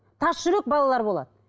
тасжүрек балалар болады